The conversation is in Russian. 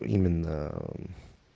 именно аа ээ